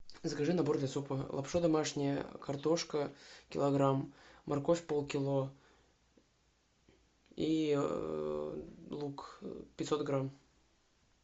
закажи набор для супа лапша домашняя картошка килограмм морковь полкило и лук пятьсот грамм